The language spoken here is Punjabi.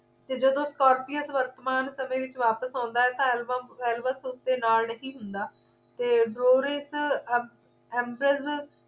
ਤੇ ਜਦੋਂ scropies ਵਰਤਮਾਨ ਸਮੇਂ ਵਿੱਚ ਵਾਪਿਸ ਆਉਂ ਦਾ ਹੈ ਤੇ alba alvas ਉਸ ਦੇ ਨਾਲ ਨਹੀਂ ਹੁੰਦਾ ਤੇ drosies ambrieses